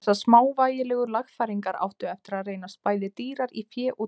Þessar smávægilegu lagfæringar áttu eftir að reynast bæði dýrar í fé og tíma.